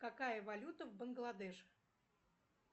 какая валюта в бангладеш